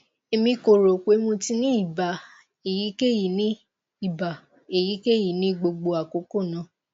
emi ko ro pe mo ti ni iba eyikeyi ni iba eyikeyi ni gbogbo akoko naa